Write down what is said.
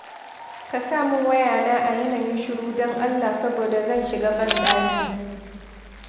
Ka sa min waya na a yanayin shiru don Allah saboda zan shiga ban ɗaki.